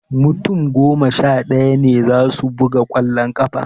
Mutum goma sha ɗaya ne za su buga ƙwallon ƙafa